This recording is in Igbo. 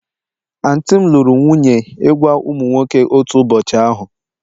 Aunty m lụrụ nwunye ịgwa ụmụ nwoke otu ụbọchị ahụ